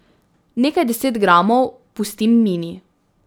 Nekaj deset gramov pustim Mini.